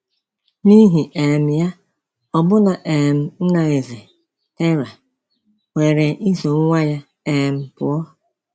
N’ihi um ya, ọbụna um nna Nze, Terah, kweere iso nwa ya um pụọ.